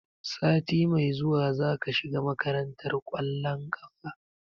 Sati mai zuwa zaka shiga makarantar ƙwallon ƙafa?